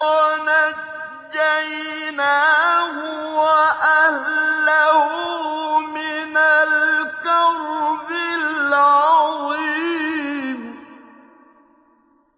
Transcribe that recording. وَنَجَّيْنَاهُ وَأَهْلَهُ مِنَ الْكَرْبِ الْعَظِيمِ